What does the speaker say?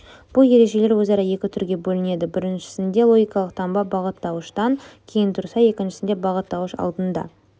бұл ережелер өзара екі түрге бөлінеді біріншісінде логикалық таңба бағыттауыштан кейін тұрса екіншісінде бағыттауыш алдында